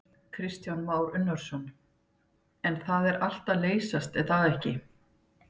Kristján Már Unnarsson: En það er allt að leysast er það ekki?